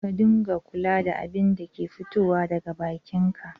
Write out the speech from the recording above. Ka dunga kula da abinda ke fitowa daga bakin ka